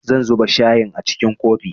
Zan zuba shayin a cikin kofi